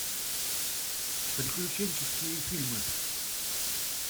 приключенческие фильмы